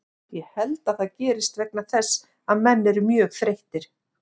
Ég held að það gerist vegna þess að menn eru mjög þreyttir.